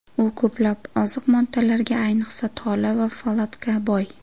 U ko‘plab oziq moddalarga, ayniqsa, tola va folatga boy.